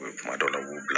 U ye kuma dɔ la u b'u bila